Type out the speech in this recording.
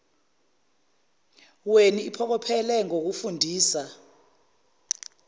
weni iphokophele ngokufundisa